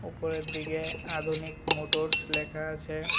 ওপরের দিকে আধুনিক মোটরস লেখা আছে।